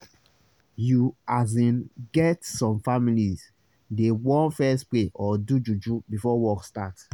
you asin get some families dey want fess pray or do juju before work start